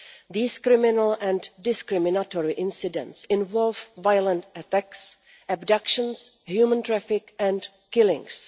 These criminal and discriminatory incidents involve violent attacks, abductions, human trafficking and killings.